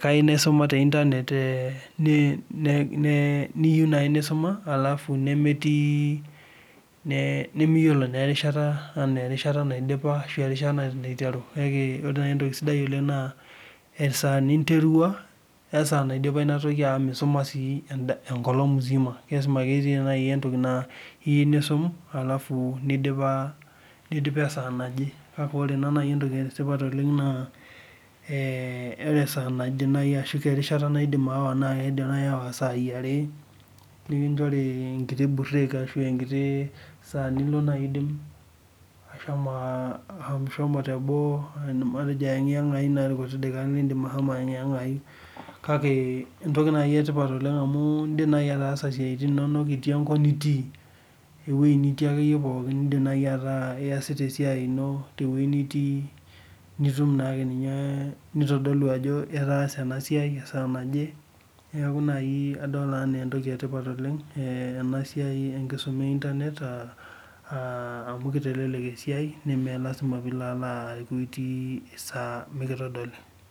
kayeu naisuma te internet niyeu nai nisuma alafu nemetii nimiyiolo naa erishata ana erishata naa indipa, erishata naiteru kake ore nai entoki sidai oleng naa esaa ninterua, osaa naidipa inatoki amu miisoma sii enkolong musima, lasima ake etii naii entoki niyeu niisum alafu neidipe saa naje, naaku ore ena naa entoki esipat oleng naa esaa naje erishata naidim aawa naa eidmi naii aawa saaii are, nikinchori nkiti burek ashu enkiti saa nilo naiidim ashomo te boo matejo aieng'eng'ai naa lkuti dakikani niindim ashomo aieng'eng'ai, kake entoki naii etipat oleng amuu indim naii ataasa siatin inono itii enkop nitii, eweji nitii ake iyie pookin niindim nai ataa iesiata esiaii ino te weji nitii, nitum naake ninye, neitodolu etaase ena siai esaa naje, neaku naaii adol enaa entoki etipat oleng ena siaii enkisuma e interbent amu keitelelek esiai nemee lasima piilo aaku itii saa pikitodoli.